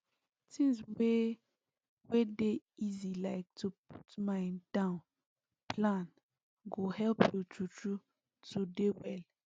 things wey wey dey easy like to put mind down plan go help you true true to dey well